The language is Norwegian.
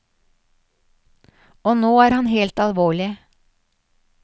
Og nå er han helt alvorlig.